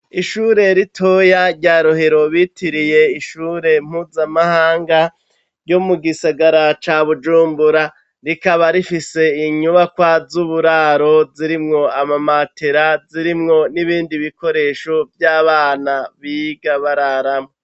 ishure ritoya rya rohero bitiriye ishure mpuzamahanga ryo mugisigara ca bujumbura rikaba rifise inyubakwa z'uburaro zirimwo amamatera, zirimwo n'ibindi bikoresho vy'abana biga bararamwo.